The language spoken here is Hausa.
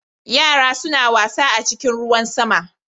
Yara suna wasa a cikin ruwan sama.